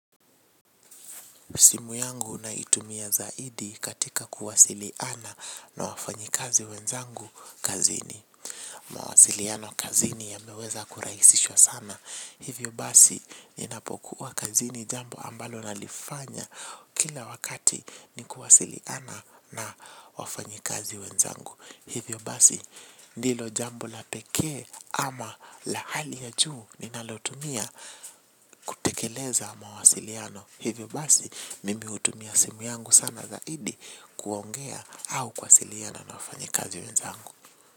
Simu yangu naitumia zaidi katika kuwasiliana na wafanyikazi wenzangu kazini. Mawasiliano kazini yameweza kurahisishwa sana. Hivyo basi, ninapokuwa kazini jambo ambalo nalifanya kila wakati ni kuwasiliana na wafanyikazi wenzangu. Hivyo basi, ndilo jambo la pekee, ama la hali ya juu ninalotumia kutekeleza mawasiliano. Hivyo basi, mimi hutumia simu yangu sana zaidi kuongea au kuwasiliana na wafanyikazi wenzangu.